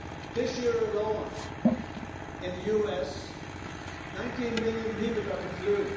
This year alone in the US, 19 million people got the flu